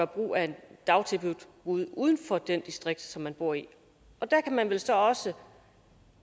brug af et dagtilbud uden uden for det distrikt som de bor i og der kan man vel så også